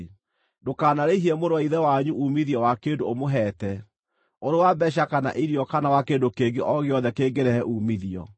Ndũkanarĩhie mũrũ wa ithe wanyu uumithio wa kĩndũ ũmũheete, ũrĩ wa mbeeca kana irio kana wa kĩndũ kĩngĩ o gĩothe kĩngĩrehe uumithio.